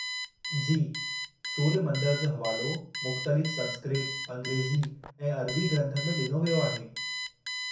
जी, सूर्य मंदर जो हवालो मुख़्तलिफ़ संस्कृत, अंग्रेजी ऐं अरबी ग्रंथनि में डि॒नो वियो आहे।